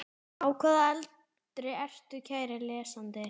Á hvaða aldri ertu kæri lesandi?